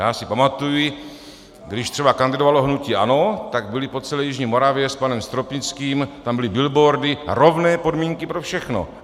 Já si pamatuji, když třeba kandidovalo hnutí ANO, tak byly po celé jižní Moravě s panem Stropnickým - tam byly billboardy: Rovné podmínky pro všechny.